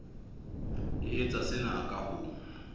e etsa sena ka ho